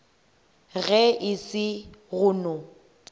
ge e se go no